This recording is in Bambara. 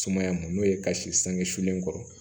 Sumaya mun n'o ye ka si sangesulen kɔrɔ